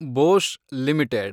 Bosch limited